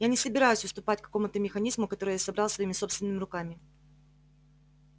я не собираюсь уступать какому-то механизму который я собрал своими собственными руками